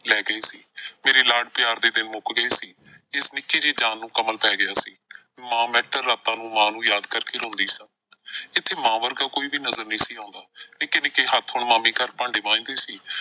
ਲੈ ਗਏ। ਮੇਰੇ ਲਾਡ ਪਿਆਰ ਦੇ ਦਿਨ ਮੁੱਕ ਗਏ ਸੀ। ਇਸ ਨਿੱਕੀ ਜਿਹੀ ਜਾਨ ਨੂੰ ਕਮਲ ਪਏ ਗਿਆ ਸੀ। ਮਾਂ ਮੈਂ ਤੈਨੂੰ ਰਾਤਾਂ ਨੂੰ ਮਾਂ ਨੂੰ ਯਾਦ ਕਰਕੇ ਰੋਂਦੀ ਸਾਂ। ਇੱਥੇ ਮਾਂ ਵਰਗਾ ਕੋਈ ਵੀ ਨਜ਼ਰ ਨਈਂ ਸੀ ਆਉਂਦਾ। ਨਿੱਕੇ ਨਿੱਕੇ ਹੱਥ ਹੁਣ ਮਾਮੀ ਘਰ ਭਾਂਡੇ ਮਾਂਜਦੇ ਸੀ।